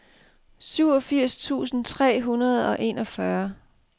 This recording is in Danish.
syvogfirs tusind tre hundrede og enogfyrre